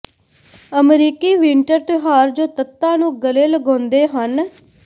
ਅਮਰੀਕੀ ਵਿੰਟਰ ਤਿਉਹਾਰ ਜੋ ਤੱਤਾਂ ਨੂੰ ਗਲੇ ਲਗਾਉਂਦੇ ਹਨ